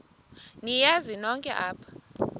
niyazi nonk apha